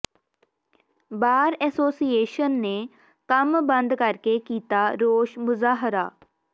ਬਾਰ association ਨੇ ਕੰਮ ਬੰਦ ਕਰਕੇ ਕੀਤਾ ਰੋਸ ਮੁਜ਼ਾਹਰਾ